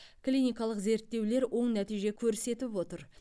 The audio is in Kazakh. клиникалық зерттеулер оң нәтиже көрсетіп отыр